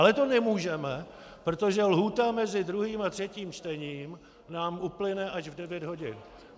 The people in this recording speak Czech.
Ale to nemůžeme, protože lhůta mezi druhým a třetím čtením nám uplyne až v 9 hodin.